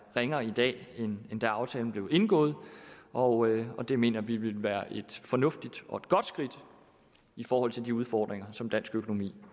ringere i dag end da aftalen blev indgået og det mener vi vil være et fornuftigt og godt skridt i forhold til de udfordringer som dansk økonomi